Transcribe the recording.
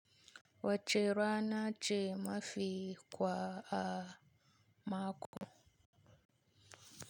Wace rana ce mafi kwa a mako?